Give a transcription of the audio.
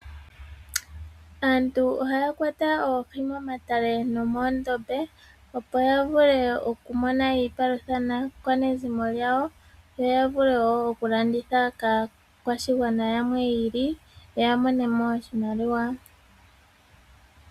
Aantu ohaya kwata Oohi momatale no moondombe opo ya vule oku mone iipalutha naakwanezimo lyawo yo ya vule wo oku landitha kaakwashigwana yamwe yi ili ya mone mo oshimaliwa.